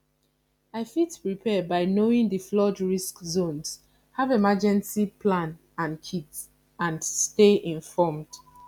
i fit prepare by knowing di flood risk zones have emergencey plan and kit and stay informed